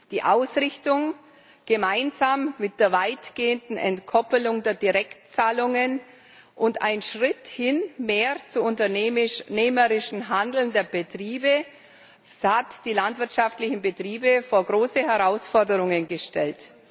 Die Ausrichtung, gemeinsam mit der weitgehenden Entkoppelung der Direktzahlungen, und ein Schritt hin zu mehr unternehmerischem Handeln der Betriebe haben die landwirtschaftlichen Betriebe vor große Herausforderungen gestellt.